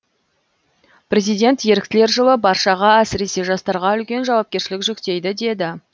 президент еріктілер жылы баршаға әсіресе жастарға үлкен жауапкершілік жүктейді деді